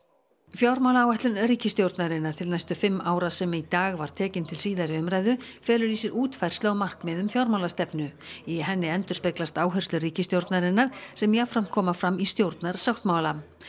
fjármálaáætlun ríkisstjórnarinnar til næstu fimm ára sem í dag var tekin til síðari umræðu felur í sér útfærslu á markmiðum fjármálastefnu í henni endurspeglast áherslur ríkisstjórnarinnar sem jafnframt koma fram í stjórnarsáttmála